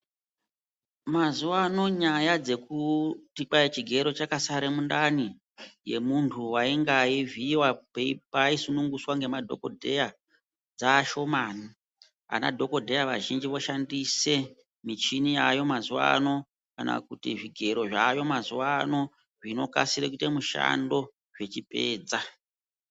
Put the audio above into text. Mazuvano nyaya dzekuti kwai chigero chakasara mundani yemundu wainga eivhiiwa pai sungunuswa nemadhokodhaya dzaashomani, anadhokodheya azhinji voshandise michini yaayo mazuvano kana kuti zvigero zvaayo mazuvano zvinokasira kuita mushando zvichipedza.